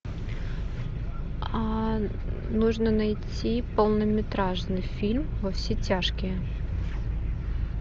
а нужно найти полнометражный фильм во все тяжкие